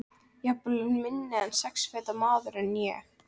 Jafnvel minni en sex feta maðurinn ég.